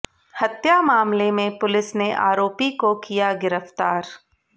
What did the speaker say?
हत्या मामले में पुलिस ने आरोपी को किया गिरफ्तार